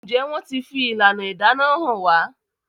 Njé wón tí fi ìlànà ìdáná hàn wá?